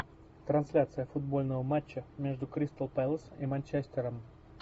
трансляция футбольного матча между кристал пэлас и манчестером